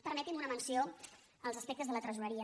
permeti’m una menció als aspectes de la tresoreria